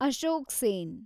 Ashok Sen